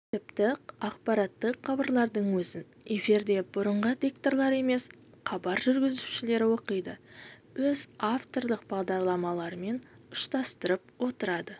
тіпті ақпараттық хабарлардың өзін эфирде бұрынғы дикторлар емес хабар жүргізушілер оқиды өз авторлық бағдарламаларымен ұштастырып отырады